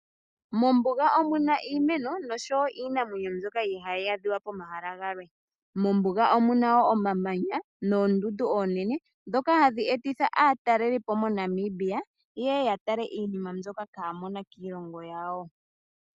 Mombuga omuna iimeno noshowo iinamwenyo mbyoka ihaayi adhika pomahala galwe . Mombuga omuna woo omamanya moondundu oonene , ndhoka hadhi etitha aatalelipo moNamibia , yeye ya tale iinima mbyoka kaayi ko kiilongo yawo.